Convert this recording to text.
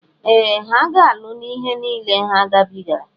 Ee! Ha ga-alụ n'ihe niile a ha gabigara.